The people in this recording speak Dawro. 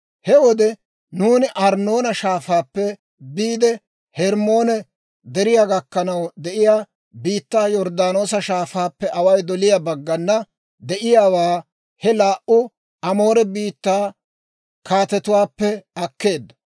«He wode nuuni Arnnoona Shaafaappe biide Hermmoone Deriyaa gakkanaw de'iyaa biittaa Yorddaanoosa Shaafaappe away doliyaa baggana de'iyaawaa he laa"u Amoore biittaa kaatetuwaappe akkeedda.